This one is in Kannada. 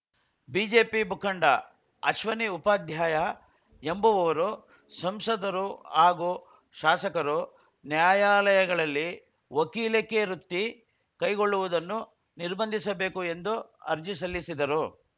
ಬಿಜೆಪಿ ಮುಖಂಡ ಅಶ್ವನಿ ಉಪಾಧ್ಯಾಯ ಎಂಬುವವರು ಸಂಸದರು ಹಾಗೂ ಶಾಸಕರು ನ್ಯಾಯಾಲಯಗಳಲ್ಲಿ ವಕೀಲಿಕೆ ವೃತ್ತಿ ಕೈಗೊಳ್ಳುವುದನ್ನು ನಿರ್ಬಂಧಿಸಬೇಕು ಎಂದು ಅರ್ಜಿ ಸಲ್ಲಿಸಿದ್ದರು